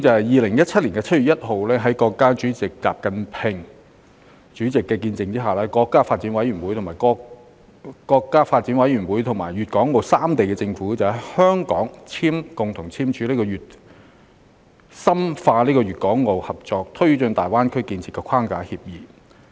2017年7月1日，在國家主席習近平的見證下，國家發展和改革委員會和粵港澳三地政府在香港共同簽署《深化粵港澳合作推進大灣區建設框架協議》。